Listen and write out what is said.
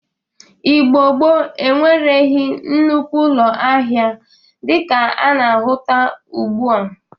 Igbo gboo enwereghi nnukwu ụlọ ahịa dịka a na-ahụta ugbu a.